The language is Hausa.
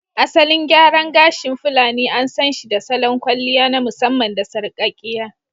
Asalin gyara gashi fulani an sanshi da salon kwalliya na musamman da sarƙakkiya